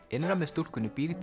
innra með stúlkunni býr